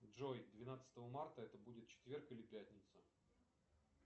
джой двенадцатого марта это будет четверг или пятница